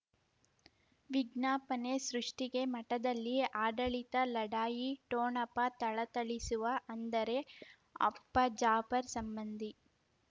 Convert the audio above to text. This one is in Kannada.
ವಿಜ್ಞಾಪನೆ ಸೃಷ್ಟಿಗೆ ಮಠದಲ್ಲಿ ಆಡಳಿತ ಲಢಾಯಿ ಠೋಣಪ ಥಳಥಳಿಸುವ ಅಂದರೆ ಅಪ್ಪ ಜಾಫರ್ ಸಂಬಂಧಿ